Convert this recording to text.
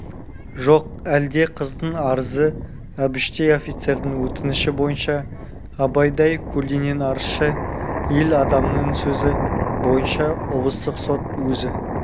жоқ әлде қыздың арызы әбіштей офицердің өтініші бойынша абайдай көлденең арызшы ел адамының сөзі бойынша облыстық сот өзі